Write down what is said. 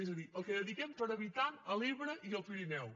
és a dir el que dediquem per habitant a l’ebre i al pirineu